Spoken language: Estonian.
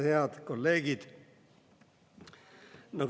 Head kolleegid!